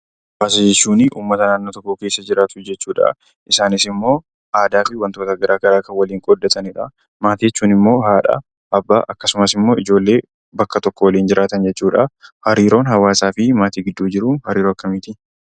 Hawaasa jechuunii uummata naannoo tokko keessa jiraatu jechuudhaa. Isaanis immoo aadaa fi wantoota garaa garaa kan waliin qoodatanidha. Maatii jechuun immoo haadha, abbaa, akkasumas immoo ijoollee bakka tokko waliin jiraatan jechuudha. Hariiroon hawaasaa fi maatii gidduu jiru hariiroo akkamiitii?